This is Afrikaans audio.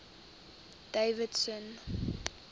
davidson